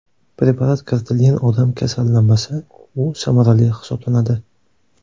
Preparat kiritilgan odam kasallanmasa, u samarali hisoblanadi.